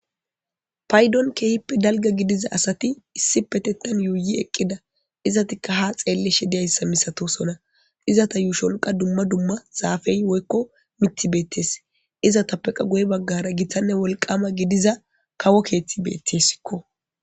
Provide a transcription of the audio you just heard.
paydon keehippe dalgga gidiza asati issipetetan yuuyi eqqida izatikka ha xeellishe diyayssa misatosona izata yuushon qa dumma dumma zaafey woykko mitti beettes izatappe qa guye baggara giththanne wolqama gidiza kawo keeththi beettessikko.